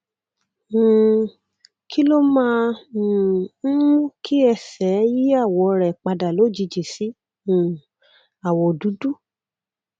um kí ló máa um ń mú kí ẹsẹ yí àwọ rẹ padà lójijì sí um àwọ dúdú